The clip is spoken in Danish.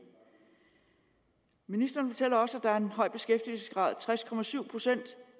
i ministeren fortæller også at der er en høj beskæftigelsesgrad tres procent